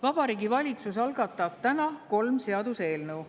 Vabariigi Valitsus algatab täna kolm seaduseelnõu.